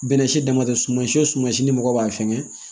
Bɛnɛ si dama tɛ suman si o suma si ni mɔgɔ b'a fɛngɛ